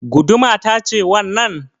Guduma ta ce wannan?